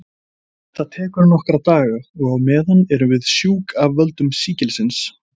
Þetta tekur nokkra daga og á meðan erum við sjúk af völdum sýkilsins.